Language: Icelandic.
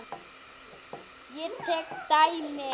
Ég tek dæmi.